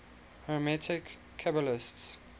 hermetic qabalists